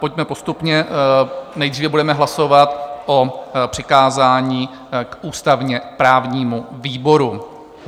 Pojďme postupně, nejdříve budeme hlasovat o přikázání k ústavně-právnímu výboru.